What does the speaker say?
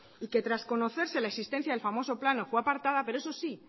y que tras que conocerse la existencia del famoso plan fue apartada pero eso sí